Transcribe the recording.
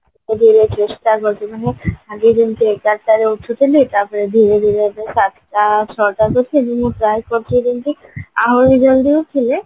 ଚେଷ୍ଟା କରୁଛି ମାନେ ଆଗେ ଯେମତି ଏଗାରଟାରେ ଉଠୁଥିଲି ତାପରେ ଧୀରେ ଧୀରେ ଏବେ ସାତଟା ଛଅଟା ତଥାପି ମୁଁ try କରୁଛି ଯେମତି ଆହୁରି ଜଲଦି ଉଠିଲେ